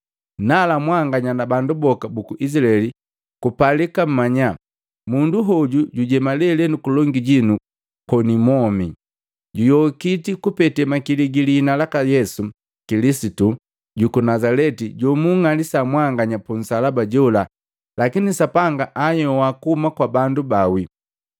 nala mwanganya na bandu boka buku Izilaeli kupalika mmanya munduhoju jujema lelenu kulongi jinu koni mwomi, juyokiti kupete makili gilihina laka Yesu Kilisitu juku Nazaleti jomunng'alisa mwanganya punsalaba jola lakini Sapanga anhyoa kuhuma kwa bandu baawi.